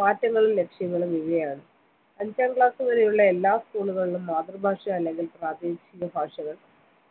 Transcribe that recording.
മാറ്റങ്ങളും ലക്ഷ്യങ്ങളും ഇവയാണ് അഞ്ചാം ക്ലാസ് വരെയുള്ള എല്ലാ school കളിലും മാതൃഭാഷ അല്ലെങ്കിൽ പ്രാദേശിക ഭാഷകൾ